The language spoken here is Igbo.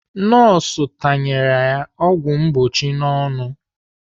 Nọọsụ tanyere ya ọgwụ mgbochi n'ọnụ.